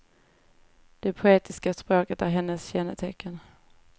Det poetiska språket är hennes kännetecken.